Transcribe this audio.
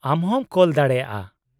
-ᱟᱢ ᱦᱚᱸᱢ ᱠᱳᱞ ᱫᱟᱲᱮᱟᱜᱼᱟ ᱾